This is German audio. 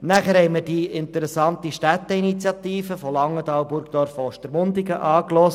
Wir hörten uns zudem Ausführungen zur interessanten Städteinitiative von Langenthal, Burgdorf und Ostermundigen an.